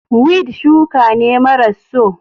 Weed shuka ne maras so.